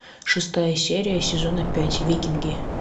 шестая серия сезона пять викинги